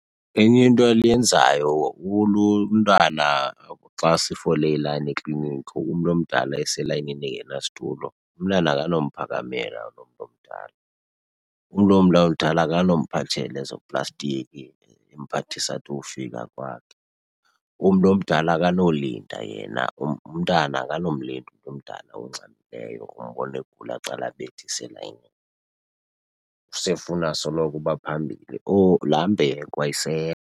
Enye into oluyenzayo , umntana xa sifole ilayini ekliniki umntu omdala eselayinini engenasitulo, umntana akanomphakamela lo mntu omdala. Umntu mdala akanomphathela ezo plastiki emphathisa ade ayofika kwakhe. Umntu omdala akanolinda yena, umntana akanomlinda umntu omdala ongxamileyo. Umbona egula aqale elayinini, sefuna soloko uba phambili. Laa mbeko ayisekho.